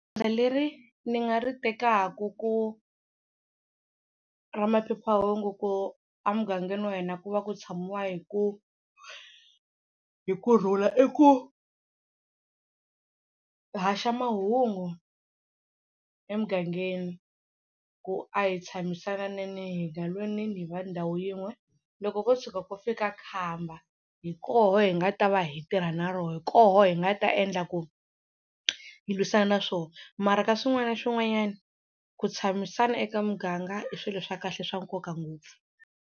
Goza leri ni nga ri tekaka ku ra maphephahungu ku a mugangeni wa hina ku va ku tshamiwa hi ku hi kurhula i ku haxa mahungu emugangeni ku a hi tshamisananeni hi nga lweneni hi va ndhawu yin'we loko ko tshuka ko fika khamba hi koho hi nga ta va hi tirha na rona, hi koho hi nga ta endla ku hi lwisana na swo mara ka swin'wana na swin'wanyana ku tshamisana eka muganga i swilo swa kahle swa nkoka ngopfu.